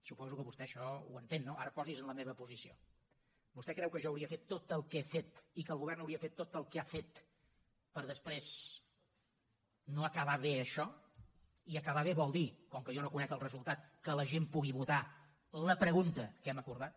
suposo que vostè això ho entén no ara posi’s en la meva posició vostè creu que jo hauria fet tot el que he fetgovern hauria fet tot el que ha fet per després no acabar bé això i acabar bé vol dir com que jo no en conec el resultat que la gent pugui votar la pregunta que hem acordat